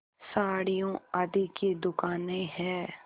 साड़ियों आदि की दुकानें हैं